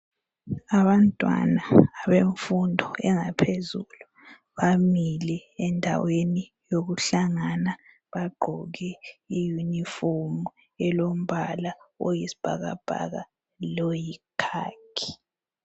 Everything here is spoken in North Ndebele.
Abantwana bemfundo engaphezulu bamile endaweni yokuhlangana. Bagqoke iyunifomu elombala oyisibhakabhaka loyi"khaki".